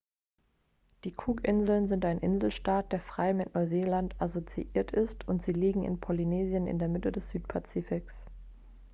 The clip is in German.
die cookinseln sind ein inselstaat der frei mit neuseeland assoziiert ist und sie liegen in polynesien in der mitte des südpazifiks